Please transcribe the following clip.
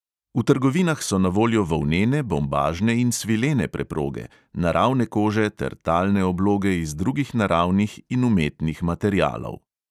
V trgovinah so na voljo volnene, bombažne in svilene preproge, naravne kože ter talne obloge iz drugih naravnih in umetnih materialov.